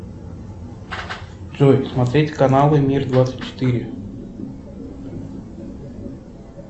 джой смотреть каналы мир двадцать четыре